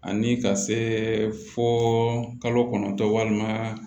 Ani ka se fo kalo kɔnɔntɔn walima